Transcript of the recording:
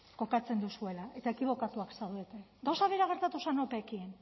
kokatzen duzuela eta ekibokatuak zaudete gauza bera gertatu zen opeekin